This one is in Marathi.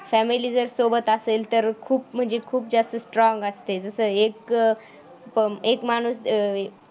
फॅमिली जर सोबत असेल तर खूप म्हणजे खूप जास्त स्ट्रॉंग असते जसं एक एक माणूस अं